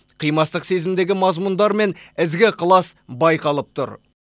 қимастық сезімдегі мазмұндар мен ізгі ықылас байқалып тұр